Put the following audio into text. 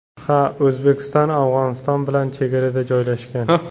Ha, O‘zbekiston Afg‘oniston bilan chegarada joylashgan.